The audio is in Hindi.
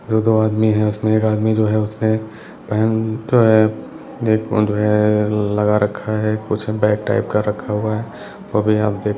दो-दो आदमी है उसमें एक आदमी जो है उसने पैंट लगा रखा है कुछ बैग टाइप का रखा हुआ है वो भी आप देख --